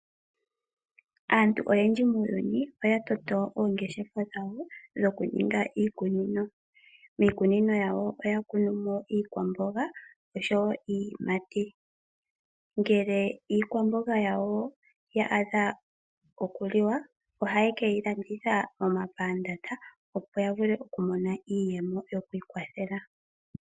Aantu oyendji muuyuni oya toto oongeshefa dhawo dhokuninga iikunino. Miikunino yawo oya kunu mo iikwamboga osho wo iiyimati. Ngele iikwamboga yawo ya adha okuliwa ohaye ke yi landitha momapandaanda opo ya vule okumona iiyemo yokwiikwathela.